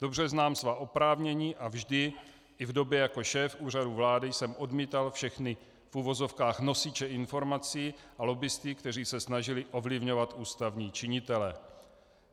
Dobře znám svá oprávnění a vždy, i v době jako šéf Úřadu vlády, jsem odmítal všechny v uvozovkách nosiče informací a lobbisty, kteří se snažili ovlivňovat ústavní činitele.